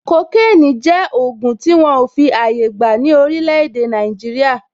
Kokénì jẹ́ ògùn tí wọn ò fi àyè gbà ní orílè èdè Nàìjíríà.